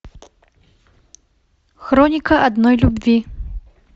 хроника одной любви